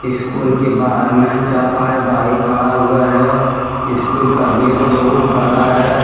School के बाहर में चार पाँच बाइक खड़ा हुआ है स्कूल का गेट बहुत बड़ा है।